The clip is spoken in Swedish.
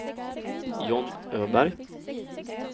John Öberg